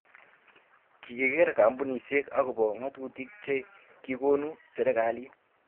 kikiker kampunisiek akobo ng'atutik che kikonu serikalit